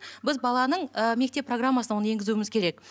біз баланың ы мектеп программасына оны енгізуіміз керек